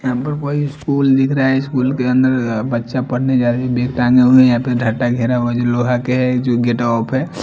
यहाँ पर भाई स्कूल दिख रहा है स्कूल के अंदर अ बच्चा पढने जा अ बैग टाँगे हुए हैं यहाँ पे ढाता घेरा हुआ है जो लोहा के है जो गेटवा पे--